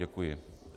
Děkuji.